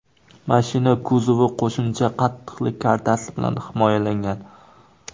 Mashina kuzovi qo‘shimcha qattiqlik kartasi bilan himoyalangan.